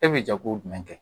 E bɛ jago jumɛn kɛ